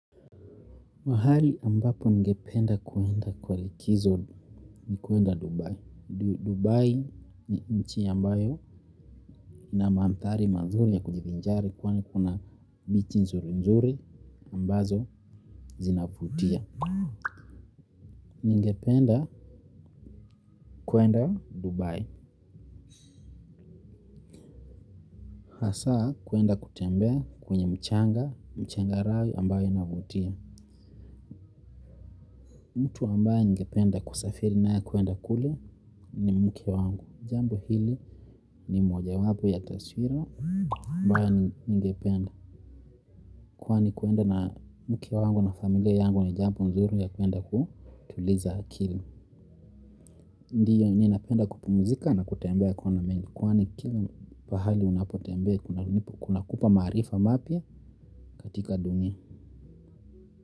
Mahali ambapo ningependa kuenda kwa likizo ni kuenda Dubai. Dubai ni nchi ambayo na maamthari manzuri ya kunjithinjari kwa ni kuna bichi nzuri nzuri ambazo zinabutia. Ningependa kuenda Dubai. Hasa kuenda kutembea kwenye mchanga, mchanga rayo ambayo inavutia. Mtu ambaye ningependa kusafiri naye kwenda kule ni mke wangu. Jambo hili ni moja wapo ya taswira mbaya ningependa kwani kuenda na mke wangu na familia yangu ni jambo nzuri ya kuenda kutuliza akili ndiyo mimi napenda kupumzika na kutembea kona mingi kwani kila pahali unapo tembea kunakupa maarifa mpya katikati dunia.